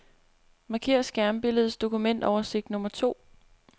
Marker skærmbilledets dokumentoversigt nummer to.